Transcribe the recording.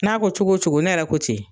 N'a ko cogo o cogo ne yɛrɛ ko ten.